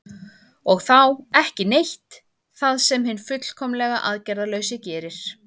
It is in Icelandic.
og þá „ekki neitt“ það sem hinn fullkomlega aðgerðalausi gerir